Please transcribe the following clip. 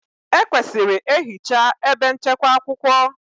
Ekwesịrị ehichaa ebe nchekwa akwụkwọ.